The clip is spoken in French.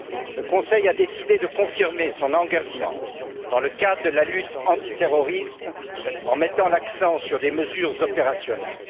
Le Conseil a décidé de confirmer son engagement dans le cadre de la lutte antiterroriste en mettant l'accent sur des mesures opérationnelles.